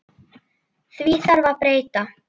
Því þarf að breyta.